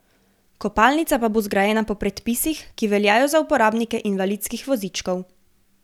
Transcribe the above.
Kopalnica pa bo zgrajena po predpisih, ki veljajo za uporabnike invalidskih vozičkov.